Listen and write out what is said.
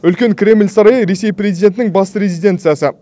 үлкен кремль сарайы ресей президентінің басты резиденциясы